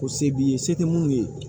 Ko se b'i ye se tɛ minnu ye